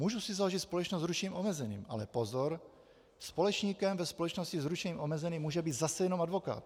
Můžu si založit společnost s ručením omezeným - ale pozor, společníkem ve společnosti s ručením omezeným může být zase jenom advokát.